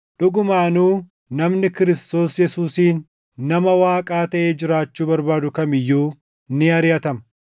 Dhugumaanuu namni Kiristoos Yesuusiin nama Waaqaa taʼee jiraachuu barbaadu kam iyyuu ni ariʼatama;